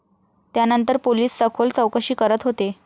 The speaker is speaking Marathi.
त्यानंतर पोलिस सखोल चौकशी करत होते.